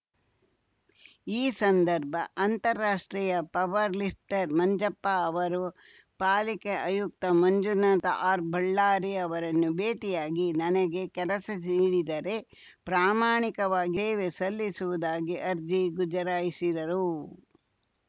ಈ ಸಂದರ್ಭ ಅಂತಾರಾಷ್ಟ್ರೀಯ ಪವರ್‌ ಲಿಫ್ಟರ್‌ ಮಂಜಪ್ಪ ಅವರು ಪಾಲಿಕೆ ಆಯುಕ್ತ ಮಂಜುನಾಥ ಆರ್‌ಬಳ್ಳಾರಿ ಅವರನ್ನು ಭೇಟಿಯಾಗಿ ನನಗೆ ಕೆಲಸ ನೀಡಿದರೆ ಪ್ರಾಮಾಣಿಕವಾಗಿ ಸೇವೆ ಸಲ್ಲಿಸುವುದಾಗಿ ಅರ್ಜಿ ಗುಜರಾಯಿಸಿದರು